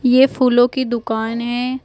ये फूलों की दुकान है।